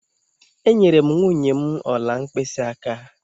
Enyere m nwunye m ọla mkpịsịaka.